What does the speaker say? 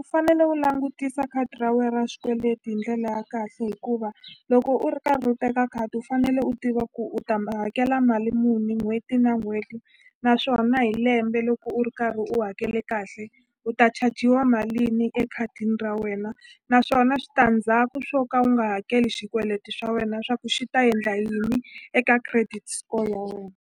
u fanele u langutisa khadi ra we ra xikweleti hi ndlela ya kahle hikuva loko u ri karhi u teka khadi u fanele u tiva ku u ta hakela mali muni n'hweti na n'hweti naswona hi lembe loko u ri karhi u hakele kahle u ta chajiwa malini ekhadini ra wena naswona switandzhaku swo ka u nga hakeli xikweleti swa wena swa ku xi ta endla yini eka credit score ya wena.